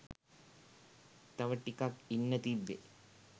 තව ටිකක් ඉන්න තිබ්බේ